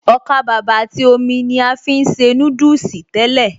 Ọkàbàbà àti omi ni a fi ń ṣe núdùsì tẹ́lẹ̀